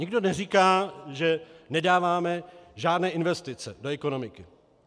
Nikdo neříká, že nedáváme žádné investice do ekonomiky.